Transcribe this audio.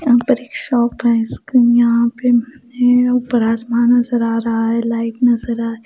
यहाँ पर एक शॉप है इसको यहाँ पे ऊपर आसमान नजर आ रहा है लाइट नजर आ र --